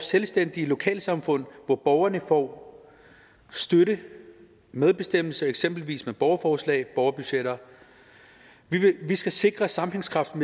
selvstændige lokalsamfund hvor borgerne får støtte medbestemmelse eksempelvis med borgerforslag og borgerbudgetter vi skal sikre sammenhængskraften